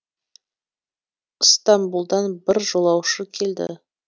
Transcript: ыстамбұлдан бір жолаушы келді